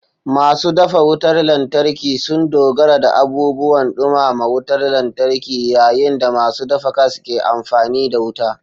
Masu dafa wutar lantarki sun dogara da abubuwan dumama wutar lantarki, yayin da masu dafa gas ke amfani da wuta.